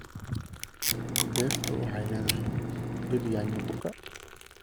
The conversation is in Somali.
Beertu waxay leedahay dhir yaanyo buka.